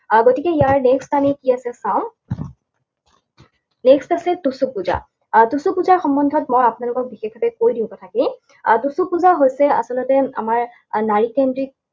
আহ গতিকে ইয়াৰ next আমি কি আছে চাওঁ। Next আছে টুচু পূজা। আৰু টুচু পূজা সম্বন্ধত মই আপোনালোকক বিশেষভাৱে কৈ দিওঁ কথাখিনি। আহ টুচু পূজা হৈছে আচলতে আমাৰ আহ নাৰীকেন্দ্ৰিক